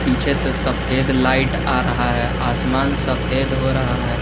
पीछे से सफेद लाइट आ रहा है आसमान सफेद हो रहा है।